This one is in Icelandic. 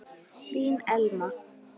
Þín Elma.